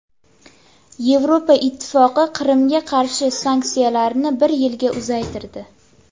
Yevropa Ittifoqi Qrimga qarshi sanksiyalarini bir yilga uzaytirdi.